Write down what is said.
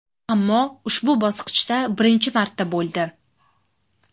Ammo ushbu bosqichda birinchi marta bo‘ldi.